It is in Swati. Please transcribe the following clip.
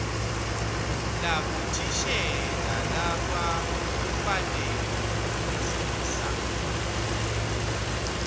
labothishela labakufanele kufundzisa